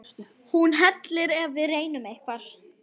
Hún hellir ef við reynum eitthvað.